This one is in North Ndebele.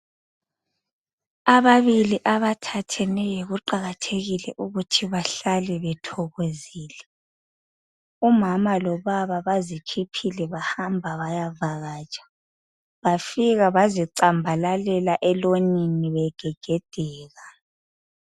Ababili abathatheneyo kuqakathekile ukuthi bahlale bethokozile. Umama lobaba bazikhiphile bahamba bayavakatsha bafika bazicambalalela elonini begegedeka.